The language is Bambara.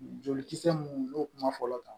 Jolikisɛ mun n'o kuma fɔlɔ kan